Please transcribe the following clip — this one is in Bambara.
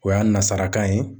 O y'a nazarakan ye